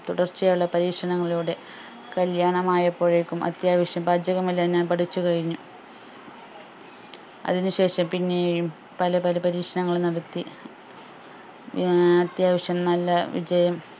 തുടർച്ചയായുള്ള പരീക്ഷണങ്ങളിലൂടെ കല്യാണമായപ്പോഴേക്കും അത്യാവശ്യം പാചകമെല്ലാം ഞാൻ പഠിച്ചു കഴിഞ്ഞു അതിനു ശേഷം പിന്നെയും പല പല പരീക്ഷണങ്ങളും നടത്തി ഏർ അത്യാവശ്യം നല്ല വിജയം